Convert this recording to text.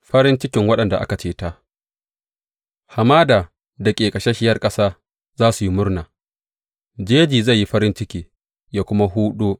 Farin cikin waɗanda aka ceta Hamada da ƙeƙasasshiyar ƙasa za su yi murna; jeji zai yi farin ciki ya kuma hudo.